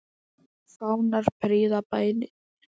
Fánar prýða bæinn.